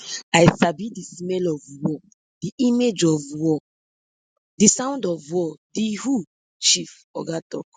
i sabi di smell of war di image of war di sound of war di who chief oga tok